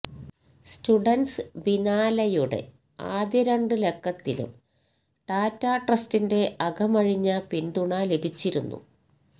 students ബിനാലെയുടെ ആദ്യ രണ്ട് ലക്കത്തിലും ടാറ്റ ട്രസ്റ്റിന്റെ അകമഴിഞ്ഞ പിന്തുണ ലഭിച്ചിരുന്നു